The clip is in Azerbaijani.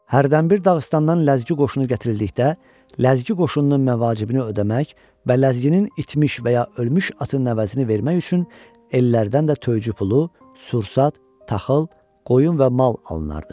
Hərdənbir Dağıstandan ləzgi qoşunu gətirildikdə, ləzgi qoşununun məvacibini ödəmək və ləzginin itmiş və ya ölmüş atının əvəzini vermək üçün ellərdən də töycü pulu, sursat, taxıl, qoyun və mal alınardı.